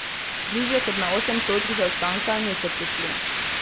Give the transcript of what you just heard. Bližje kot na osem točk zaostanka niso prišli.